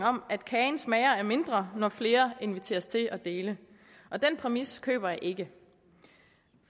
om at kagen smager af mindre når flere inviteres til at dele den præmis køber jeg ikke